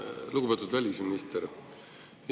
Lugupeetud välisminister!